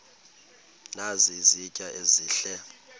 nazi izitya ezihle